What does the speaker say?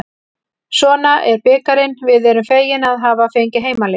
Svona er bikarinn, við erum fegin að hafa fengið heimaleik.